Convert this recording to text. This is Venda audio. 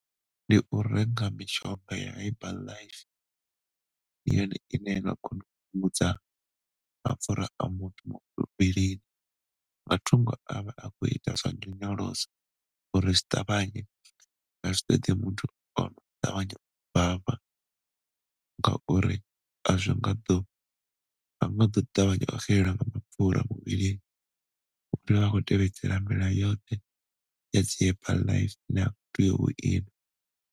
Ndi u renga mishonga ya herbal life ndi yone ine yono kona u vhungudza mapfura a muthu muvhilini, matungo a vha a khou ita zwa nyonyoloso uri zwi ṱavhanye a zwi ṱoḓi muthu ono ṱavhanya u bvafha ngauri a zwi ngo ḓo ṱavhanya u nga nga mapfura muvhilini u tea u vha a khou tevhedzela milayo yoṱhe ya dzi herbal life na .